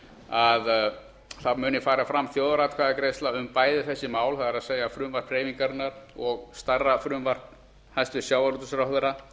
að fram muni fara þjóðaratkvæðagreiðsla um bæði þessi mál það er frumvarp hreyfingarinnar og stærra frumvarp hæstvirts sjávarútvegsráðherra